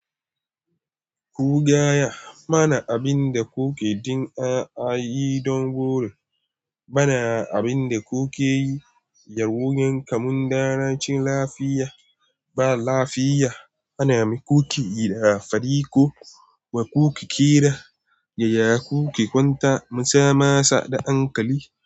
Kugaya bana abinda kuke jin a yi don gobe, bana abinda kuke yi yar wuyan kamun da racin lafiya ba lafiya. Ana mi kuke yi da fari ko wa kuke kira, yaya kuke kwanta musamasa da ankali.